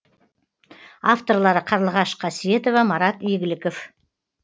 авторлары қарлығаш қасиетова марат игіліков